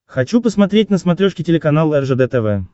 хочу посмотреть на смотрешке телеканал ржд тв